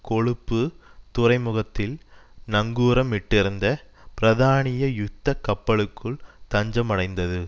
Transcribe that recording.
கொழுப்பு துறைமுகத்தில் நங்கூரமிட்டிருந்த பிரதானிய யுத்த கப்பலுக்குள் தஞ்சமடைந்தது